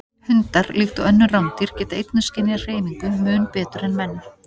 Hundar, líkt og önnur rándýr, geta einnig skynjað hreyfingu mun betur en menn.